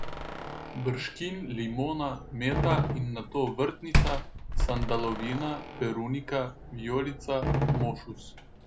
Brškin, limona, meta in nato vrtnica, sandalovina, perunika, vijolica, mošus.